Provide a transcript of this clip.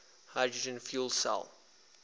hydrogen fuel cell